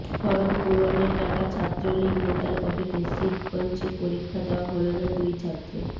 form পূরণের টাকা ছাত্রলীগ নেতার পকেটে শিবগঞ্জে পরীক্ষা দেওয়া হলো না দুই ছাত্রের